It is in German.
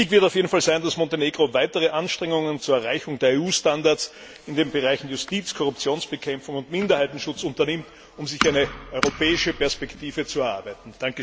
Wichtig wird auf jeden Fall sein, dass Montenegro weitere Anstrengungen zur Erreichung der EU Standards in den Bereichen Justiz, Korruptionsbekämpfung und Minderheitenschutz unternimmt, um sich eine europäische Perspektive zu erarbeiten.